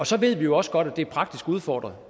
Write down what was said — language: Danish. så ved vi jo også godt at det er praktisk udfordret